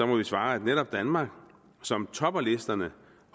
må vi svare at netop danmark som topper listerne